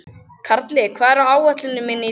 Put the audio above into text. Karli, hvað er á áætluninni minni í dag?